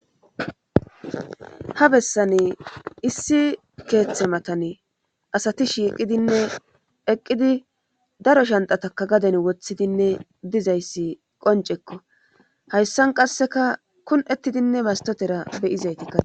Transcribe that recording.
ha bessane issi keeththe matane asati shiiqidinne eqqidi daro shantataka gaden woththidinne dizayssi qoncekko hayssan qasseka kun7ettidinne mastotera beyizaytikkae